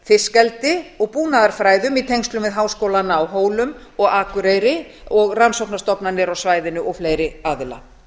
fiskeldi og búnaðarfræðum í tengslum við háskólana á hólum og akureyri rannsóknastofnanir á svæðinu og fleiri aðila